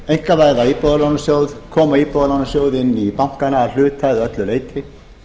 einkavæða íbúðalánasjóð koma íbúðalánasjóði inn í bankana að hluta eða öllu leyti